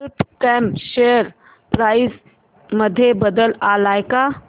कल्प कॉम share price मध्ये बदल आलाय का